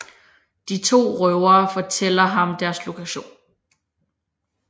De to røvere fortæller ham deres lokation